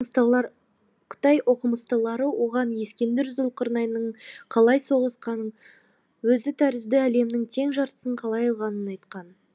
қытай оқымыстылары оған ескендір зұлқарнайынның қалай соғысқанын өзі тәрізді әлемнің тең жартысын қалай алғанын айтқан